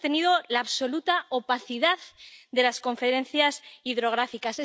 Se ha sostenido la absoluta opacidad de las confederaciones hidrográficas.